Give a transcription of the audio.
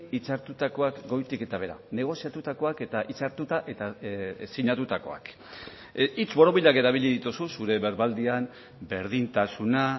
hitzartutakoak goitik eta behera negoziatutakoak eta hitzartuta eta sinatutakoak hitz borobilak erabili dituzu zure berbaldian berdintasuna